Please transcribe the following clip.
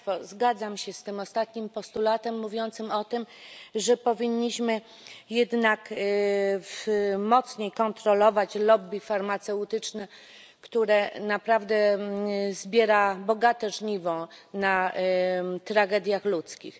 Zgadzam się z tym ostatnim postulatem mówiącym o tym, że powinniśmy jednak mocniej kontrolować lobby farmaceutyczne, które naprawdę zbiera bogate żniwo na tragediach ludzkich.